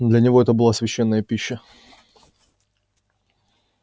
для него это была священная пища